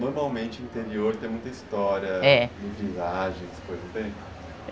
Normalmente o interior tem muita história... É. viagens, tem?